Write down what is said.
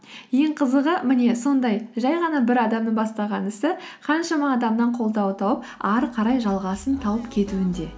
ең қызығы міне сондай жай ғана бір адамның бастаған ісі қаншама адамнан қолдау тауып ары қарай жалғасын тауып кетуінде